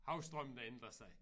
Havstrømmene ændrer sig